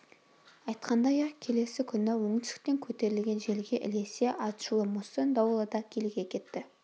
айтқандай-ақ келесі күні оңтүстіктен көтерілген желге ілесе атышулы муссон дауылы да киліге кетті